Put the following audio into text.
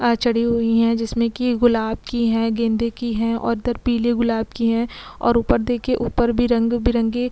आ चढ़ी हुई हैं जिसमे की गुलाब की है गेंदे की है और उधर पीले गुलाब की है और ऊपर देखिए ऊपर भी रंग बिरंगे--